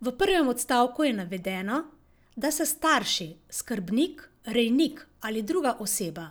V prvem odstavku je navedeno, da se starši, skrbnik, rejnik ali druga oseba,